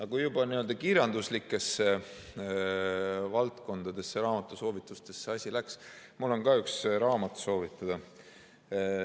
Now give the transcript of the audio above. Aga kui juba kirjanduslike valdkondade, raamatusoovituste juurde asi läks, siis mul on ka üks raamat soovitada.